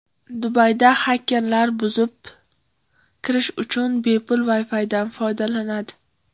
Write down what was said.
Dubayda xakerlar buzib kirish uchun bepul Wi-Fi’dan foydalanadi.